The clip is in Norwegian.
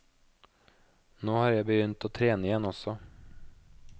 Nå har jeg begynt å trene igjen også.